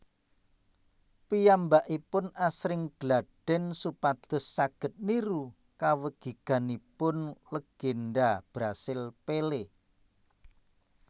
Piyambakipun asring galdhèn supados saged niru kawegiganipun legènda Brasil Pelé